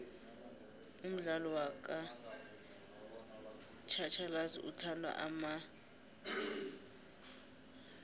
umdlalo wakj hatjhalazi uthatha amaikjamabili